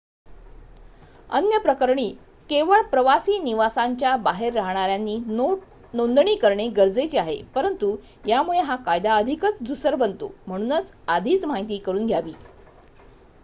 अन्य प्रकरणी केवळ प्रवासी निवासांच्या बाहेर राहणाऱ्यांनी नोंदणी करणे गरजेचे आहे परंतु यामुळे हा कायदा अधिकच धूसर बनतो म्हणून आधीच माहिती करुन घ्यावी